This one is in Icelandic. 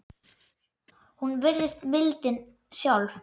Hún virðist mildin sjálf.